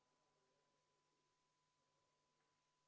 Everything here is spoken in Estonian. Panen hääletusele neljanda muudatusettepaneku, mille on esitanud Jevgeni Ossinovski.